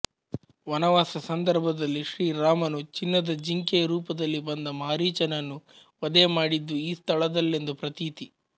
ವನವಾಸ ಸಂದರ್ಭದಲ್ಲಿ ಶ್ರೀ ರಾಮನು ಚಿನ್ನದ ಜಿಂಕೆಯ ರೂಪದಲ್ಲಿ ಬಂದ ಮಾರೀಚನನ್ನು ವಧೆ ಮಾಡಿದ್ದು ಈ ಸ್ಥಳದಲ್ಲೆಂದು ಪ್ರತೀತಿ